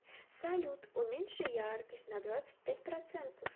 салют уменьши яркость на двадцать пять процентов